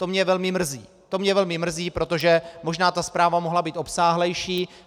To mě velmi mrzí, protože možná ta zpráva mohla být obsáhlejší.